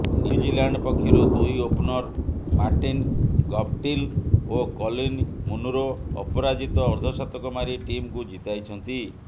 New Zealand ପକ୍ଷରୁ ଦୁଇ opener Martin Guptill ଓ କଲିନ୍ ମୁନରୋ ଅପରାଜିତ ଅର୍ଦ୍ଧଶତକ ମାରି ଟିମକୁ ଜିତାଇଛନ୍ତି